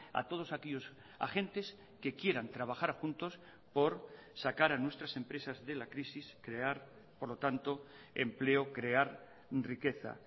a todos aquellos agentes que quieran trabajar juntos por sacar a nuestras empresas de la crisis crear por lo tanto empleo crear riqueza